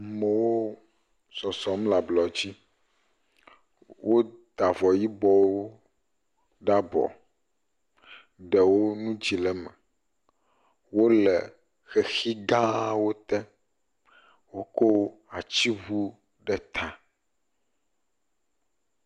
Amewo sɔsɔm le ablɔdzi. Wota avɔ yibɔwo ɖe abɔ. Ɖewo nu dzi le eme. Wo le xexi gãwo te. Woko atsiŋu ɖe ta.